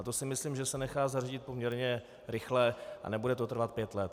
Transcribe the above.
A to si myslím, že se nechá zařídit poměrně rychle, a nebude to trvat pět let.